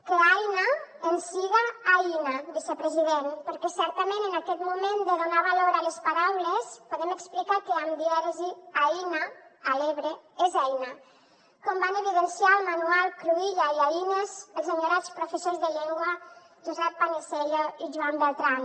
que aina ens siga aïna vicepresident perquè certament en aquest moment de donar valor a les paraules podem explicar que amb dièresi aïna a l’ebre és eina com van evidenciar al manual cruïlla i a els enyorats professors de llengua josep panisello i joan beltran